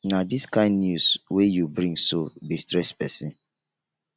na dis kain news wey you bring so dey stress pesin